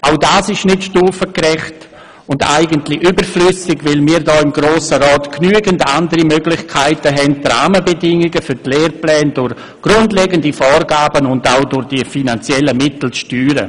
Auch das ist nicht stufengerecht und eigentlich überflüssig, weil wir hier im Grossen Rat genügend andere Möglichkeiten haben, um die Rahmenbedingungen für die Lehrpläne durch grundlegende Vorgaben und auch durch finanzielle Mittel zu steuern.